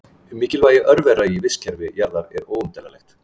Mikilvægi örvera í vistkerfi jarðar er óumdeilanlegt.